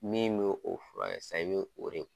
Min bɛ o fura kɛ sisan i bɛ o de